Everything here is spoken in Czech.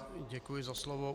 Děkuji za slovo.